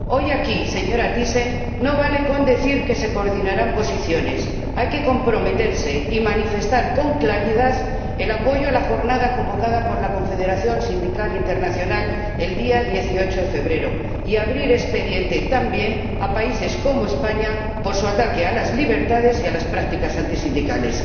Hoy, aquí, señora Thyssen, no vale con decir que se coordinarán posiciones hay que comprometerse y manifestar con claridad el apoyo a la jornada convocada por la Confederación Sindical Internacional el día 18 de febrero, y abrir expediente también a países como España por su ataque a las libertades y por las prácticas antisindicales.